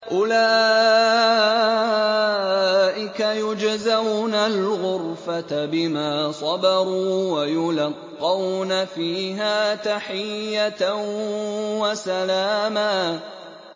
أُولَٰئِكَ يُجْزَوْنَ الْغُرْفَةَ بِمَا صَبَرُوا وَيُلَقَّوْنَ فِيهَا تَحِيَّةً وَسَلَامًا